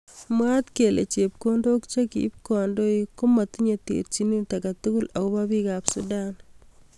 Mwaat kele chepkondok chekiib kandoik komatinyei terjinet aketugul akobo bik ab sudan.